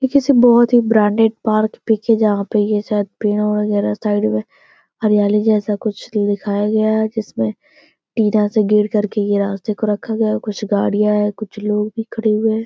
एक ऐसी बोहत ही ब्रांडेड पार्क पिक हैं जहां पे ये शायद पेड़ो वगेरा साइड में हरयाली जैसे कुछ दिखाया गया है जिसमे से गिर करके रास्ते को रखा गया है। कुछ गाड़ियां हैं कुछ लोग भी खड़े हुए हैं।